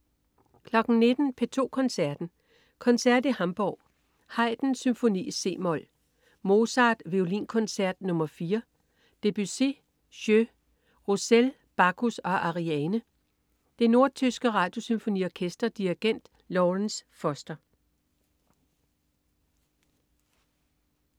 19.00 P2 Koncerten. Koncert i Hamburg. Haydn: Symfoni, c-mol. Mozart: Violinkoncert nr. 4. Debussy: Jeux. Roussel: Bacchus og Ariane. Det nordtyske Radiosymfoniorkester. Dirigent: Lawrence Foster